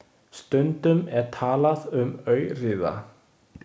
Stundum er talað um aurriða.